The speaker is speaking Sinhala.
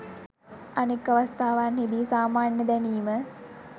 අනෙක් අවස්ථාවන්හිදී "සාමාන්‍ය දැනීම"